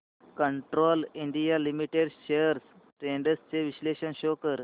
Castrol India limited shares trends चे विश्लेषण show कर